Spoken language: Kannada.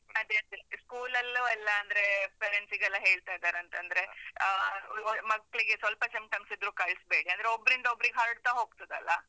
ಅದೇ ಅದೇ, school ಲಲ್ಲೂ ಎಲ್ಲಾಂದ್ರೇ parents ಗೆಲ್ಲ ಹೇಳ್ತಾ ಇದರಂತೆ, ಅಂದ್ರೆ ಆ, ಮಕ್ಳಿಗೆ ಸ್ವಲ್ಪ symptoms ಇದ್ರೂ ಕಳ್‌ಸ್ಬೇಡಿ, ಅಂದ್ರೆ ಒಬ್ರಿಂದೊಬ್ರಿಗೆ ಹರಡ್ತಾ ಹೋಗ್ತದಲ್ಲ?